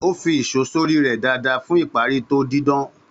Ó fi ìṣó sórí rẹ́ dáadáa fún ìparí tó didan.